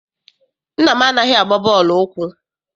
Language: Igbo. Nna m anaghị agba bọọlụ ụkwụ.